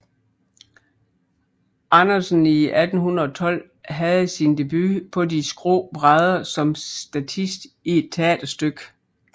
Andersen i 1812 havde sin debut på de skrå brædder som statist i et teaterstykke